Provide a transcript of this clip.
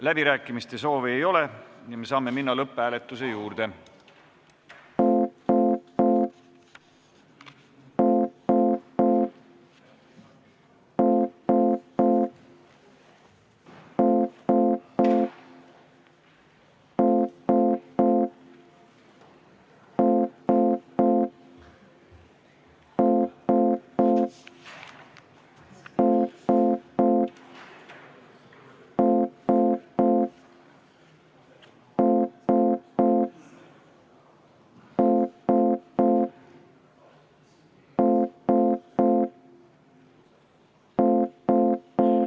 Läbirääkimiste soovi ei ole, saame minna lõpphääletuse juurde.